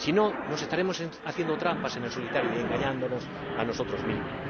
si no, nos estaremos haciendo trampas en el solitario y engañándonos a nosotros mismos.